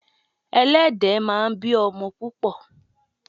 Ẹlẹ́dẹ̀ máa ń bí o̩mo̩ púpò̩.